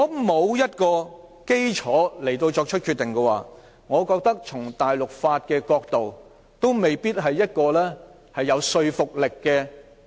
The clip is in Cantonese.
欠缺法律基礎的決定，我覺得從大陸法的角度看，也未必有說服力。